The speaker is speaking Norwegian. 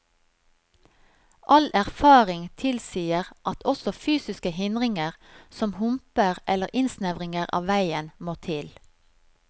All erfaring tilsier at også fysiske hindringer, som humper eller innsnevringer av veien, må til.